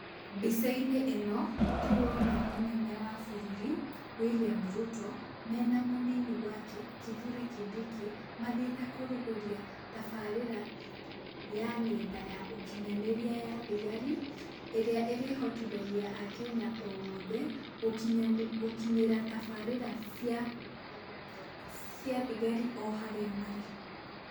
Mbica-inĩ ĩno, tũrona mũnene wa bũrũri, William Ruto, mena mũnini wake, Kithure kindiki mathiĩte kũrugũria taabarĩra ya ng'enda ya ũkinyanĩria ya thigari, ĩrĩa ĩrĩhotithagia Akenya othe, gũkinyĩra tabarĩra cia, cia thigari o harĩa marĩ.